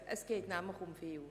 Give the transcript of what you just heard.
Es geht nämlich um viel.